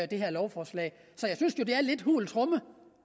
det her lovforslag så jeg synes jo det er lidt hult så